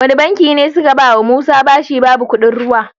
Wani banki ne suka bawa musa bashi babu kuɗin ruwa?